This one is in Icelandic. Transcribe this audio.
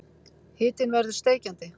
Hitinn verður steikjandi.